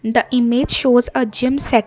the image shows a gym set.